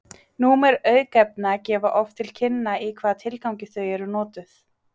númer aukefna gefa oft til kynna í hvaða tilgangi þau eru notuð